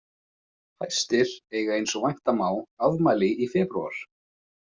Fæstir eiga eins og vænta má afmæli í febrúar.